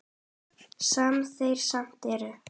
Sem þeir samt eru.